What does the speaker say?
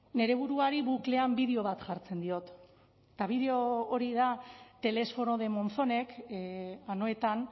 nire buruari buklean bideo bat jartzen diot eta bideo hori da telesforo de monzonek anoetan